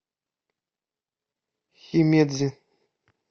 химедзи